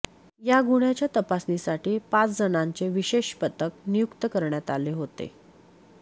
या गुन्ह्याच्या तपासासाठी पाच जणांचे विशेष पथक नियुक्त करण्यात आले होते